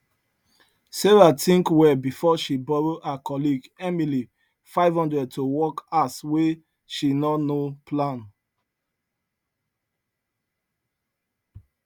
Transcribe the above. sarah think well before she borrow her colleague emily 500 to work house wey she no no plan